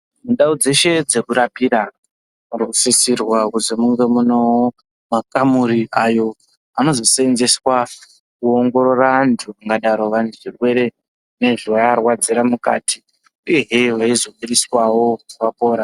Mundau dzeshe dzekurapira munosisirwa kuzwi munge munewo makamuri ayo anozosenzeswa kuongororora antu angadaro vaine chirwere nezvinoarwadzira mukati uyehe veizobudiswawo vapora.